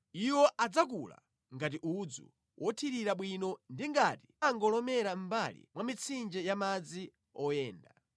Iwo adzakula ngati udzu wothirira bwino ndi ngati bango lomera mʼmbali mwa mitsinje ya madzi oyenda.